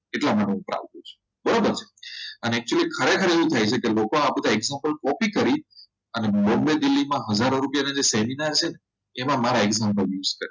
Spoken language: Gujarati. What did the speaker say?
એટલા માટે છે બરાબર છે અને actually ખરેખર એવું થાય છે કે લોકો આ example copy કરી અને બોમ્બે દિલ્હીમાં હજાર રૂપિયા ના seminar છે ને એમાં મારે